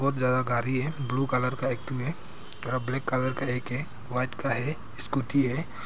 बहुत ज्यादा गारी है ब्लू कलर का एक ठू है और आब ब्लैक कलर का एक है व्हाइट का है स्कूटी है।